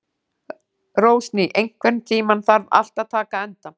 Rósný, einhvern tímann þarf allt að taka enda.